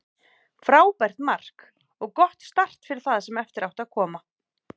Frábært mark og gott start fyrir það sem eftir átti að koma.